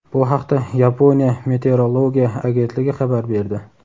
Bu haqda Yaponiya meteorologiya agentligi xabar berdi.